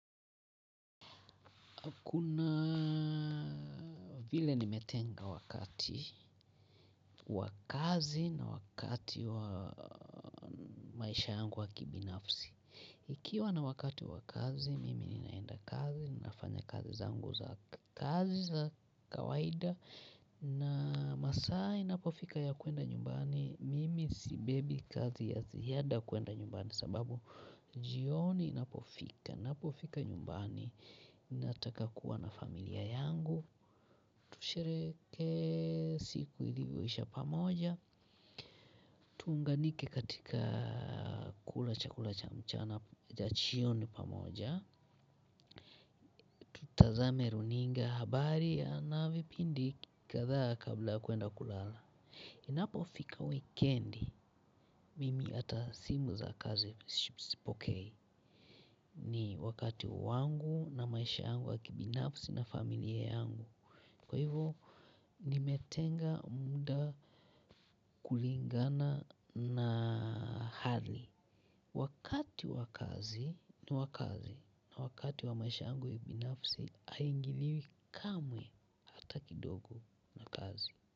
Kuna vile nimetenga wakati, wa kazi na wakati wa maisha yangu wa kibinafsi. Ikiwa na wakati wa kazi, mimi ninaenda kazi, ninafanya kazi zangu za kazi za kawaida. Na masaa inapofika ya kuenda nyumbani, mimi sibebi kazi ya ziada kuenda nyumbani. Sababu jioni inapofika, napofika nyumbani, ninataka kuwa na familia yangu tusherehekee siku ilivyoisha pamoja tuunganike katika kula chakula cha mchana ya jioni pamoja tazame runinga habari ya na vipindi kadha kabla ya kuenda kulala inapofika weekend, mimi ata simu za kazi sipokei ni wakati wangu na maisha yangu wa kibinafsi na familia yangu. Kwa hivo nimetenga muda kulingana na hali. Wakati wa kazi ni wa kazi na wakati wa maisha yangu ya ubinafsi haingiliwi kamwe hata kidogo na kazi.